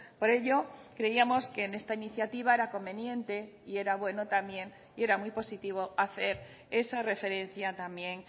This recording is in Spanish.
por ello creíamos que en esta iniciativa era conveniente y era bueno también y era muy positivo hacer esa referencia también